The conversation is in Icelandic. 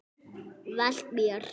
Velt mér.